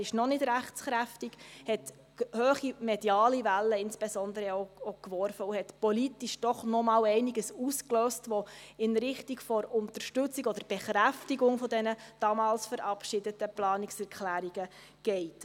er ist noch nicht rechtskräftig – hat insbesondere auch hohe mediale Wellen geworfen und politisch doch noch einmal einiges ausgelöst, das in Richtung Unterstützung oder Bekräftigung der damals verabschiedeten Planungserklärungen geht.